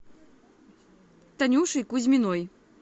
танюшей кузьминой